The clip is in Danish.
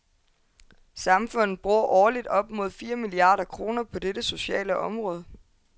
Samfundet bruger årligt op mod fire milliarder kroner på dette sociale område.